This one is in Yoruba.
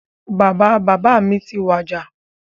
Bàbá bàbá mi ti wàjà